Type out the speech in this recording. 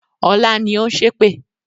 Ọlá ni ó ń ṣépè